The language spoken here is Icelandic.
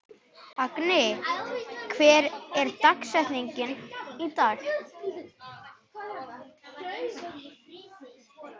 Agni, hver er dagsetningin í dag?